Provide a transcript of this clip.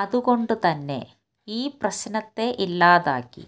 അതുകൊണ്ട് തന്നെ ഈ പ്രശ്നത്തെ ഇല്ലാതാക്കി